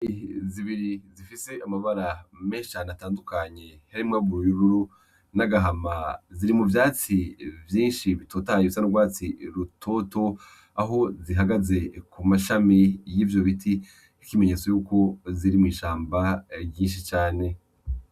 Inyoni zibiri zifise amabara menshi cane atandukanye harimwo ubururu n'agahama, ziri mu vyatsi vyinshi bitotahaye bisa n'urwatsi rutoto aho zihagaze ku mashami y'ivyo biti nk'ikimenyetso yuko ziri mw'ishamba ryinshi cane.